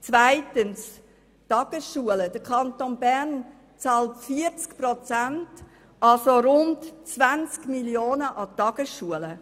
Zweitens bezahlt der Kanton Bern an die Tagesschulen 40 Prozent, das heisst rund 20 Mio. Franken.